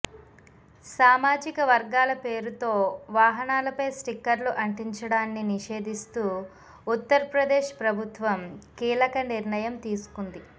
సామాజిక వర్గాల పేరుతో వాహనాలపై స్టిక్కర్లు అంటించడాన్ని నిషేధిస్తూ ఉత్తర్ప్రదేశ్ ప్రభుత్వం కీలక నిర్ణయం తీసుకుంది